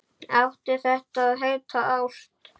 Átti þetta að heita ást?